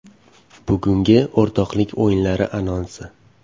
Bugungi o‘rtoqlik o‘yinlari anonsi.